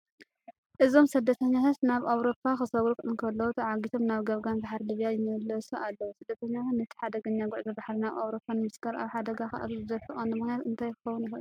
እዞም ስደተኛታት ናብ ኤውሮጳ ክሰግሩ እንከለዉ ተዓጊቶም ናብ ገማግም ባሕሪ ሊብያ ይምለሱ ኣለዉ። ስደተኛታት ነቲ ሓደገኛ ጉዕዞ ባሕሪ ናብ ኤውሮጳ ንምስጋር ኣብ ሓደጋ ከእትዉ ዝደፍእ ቀንዲ ምኽንያት እንታይ ክኸውን ይኽእል?